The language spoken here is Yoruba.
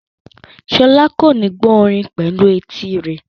Sola kò ní gbọ́ orin pẹ̀lú etí rẹ̀.